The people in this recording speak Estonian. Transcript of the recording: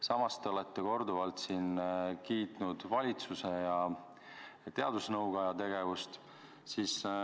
Samas te olete korduvalt kiitnud valitsuse ja teadusnõukoja tegevust.